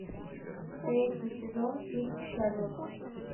третий сезон фильм шерлок